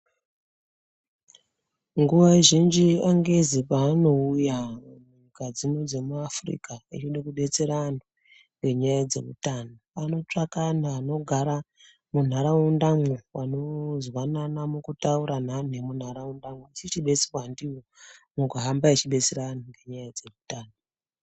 Nguwa zhinji angezi paanouya munyika dzino dzemu Afirika kudetsera anhu ngenyaya dzeutano anotsvakana anogara munharaundamwo anozwanana mukutaura neanhu emunharaunda echichidetswa ndiwo mukuhamba echidetsera anhu ngenyaya dzeutano.